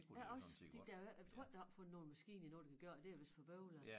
Ja også fordi der jo ikke jeg tror ikke der opfundet nogen maskine endnu der kan gøre det er vist for bøvlet